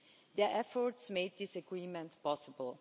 Their efforts made this agreement possible.